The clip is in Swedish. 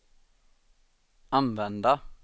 använda